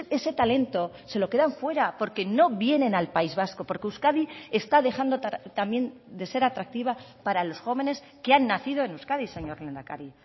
ese talento se lo quedan fuera porque no vienen al país vasco porque euskadi está dejando también de ser atractiva para los jóvenes que han nacido en euskadi señor lehendakari